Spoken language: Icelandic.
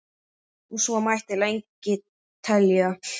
og svo mætti lengi telja.